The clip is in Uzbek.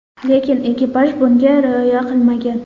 Lekin ekipaj bunga rioya qilmagan.